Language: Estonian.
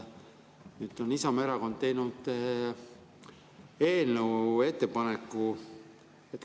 Nüüd on Isamaa Erakond teinud oma eelnõus ettepaneku.